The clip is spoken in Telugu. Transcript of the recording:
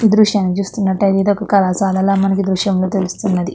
ఈ దృశ్యాన్ని చూసినట్లయితే ఇది ఒక కళాశాలల మనకి ఈ దృశ్యంలో తెలుస్తున్నది.